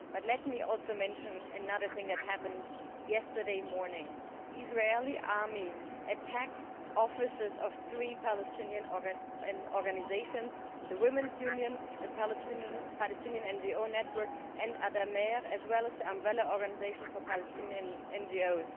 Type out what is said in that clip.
Let me also mention another thing that happened yesterday morning. The Israeli army attacked the offices of three Palestinian organisations the Women's Union, the Palestinian NGO Network and Addameer as well as the umbrella organisation for Palestinian NGOs.